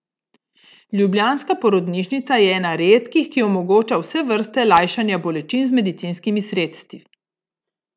Ljubljanska porodnišnica je ena redkih, ki omogoča vse vrste lajšanja bolečin z medicinskimi sredstvi.